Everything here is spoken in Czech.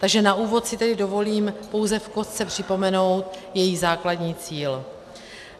Takže na úvod si tedy dovolím pouze v kostce připomenout její základní cíl.